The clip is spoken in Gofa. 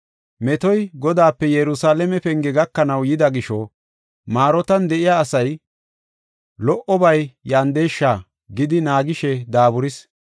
Metoy Godaape Yerusalaame penge gakanaw yida gisho, Marootan de7iya asay, “Lo77obay yandeesha!” gidi naagishe daaburis.